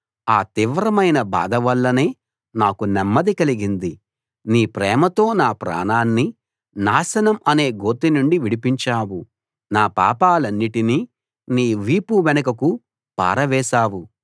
ఆ తీవ్రమైన బాధ వల్లనే నాకు నెమ్మది కలిగింది నీ ప్రేమతో నా ప్రాణాన్ని నాశనం అనే గోతి నుండి విడిపించావు నా పాపాలన్నిటినీ నీ వీపు వెనుకకు పారవేశావు